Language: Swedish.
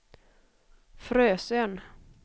Frösön